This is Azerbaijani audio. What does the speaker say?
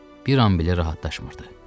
Bir an belə rahatlaşmırdı.